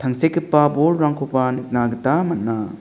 tangsekgipa bolrangkoba nikna gita man·a.